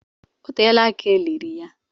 O teela aka eliri ya.